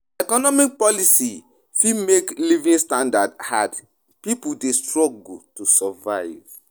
Economic policies fit make living standard hard; pipo dey struggle to survive.